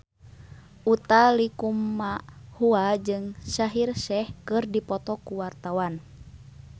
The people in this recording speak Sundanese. Utha Likumahua jeung Shaheer Sheikh keur dipoto ku wartawan